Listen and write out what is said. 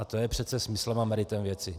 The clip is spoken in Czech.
A to je přece smyslem a meritem věci.